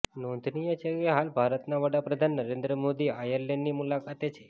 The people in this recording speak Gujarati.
નોંધનીય છે કે હાલ ભારતના વડાપ્રધાન નરેન્દ્ર મોદી આયરલેન્ડની મુલાકાતે છે